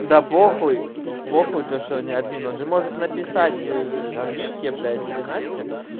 да похуй похуй то что он не админ он же может написать ээ вике блять или насте